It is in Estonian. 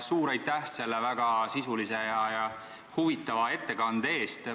Suur tänu selle väga sisulise ja huvitava ettekande eest!